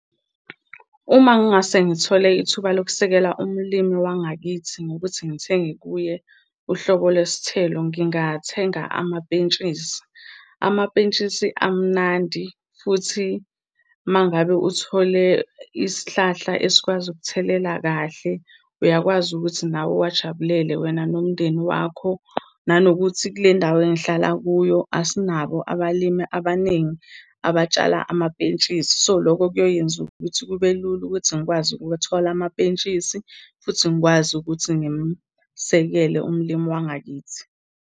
Uma ngingase ngithole ithuba lokusekela umlimi wangakithi ngokuthi ngithenge kuye uhlobo lesithelo, ngingathenga amapentshisi. Amapentshisi amnandi, futhi uma ngabe uthole isihlahla esikwazi ukuthelela kahle uyakwazi ukuthi nawe uwajabulela, wena nomndeni wakho. Nanokuthi, kule ndawo engihlala kuyo asinabo ubalimi abaningi abatshala amapentshisi. So, loko kuyoyenza ukuthi kube lula ukuthi ngikwazi ukuthola amapentshisi, futhi ngikwazi ukuthi ngimsekele umlimi wangakithi.